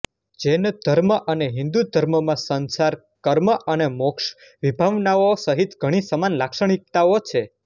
જૈન ધર્મ અને હિંદુ ધર્મમાં સંસાર કર્મ અને મોક્ષની વિભાવનાઓ સહિત ઘણી સમાન લાક્ષણિકતાઓ છે